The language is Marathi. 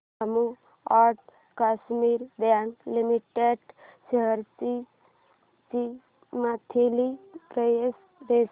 Jammu and Kashmir bank limited shares ची मंथली प्राइस रेंज